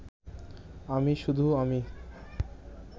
আমি শুধু আমি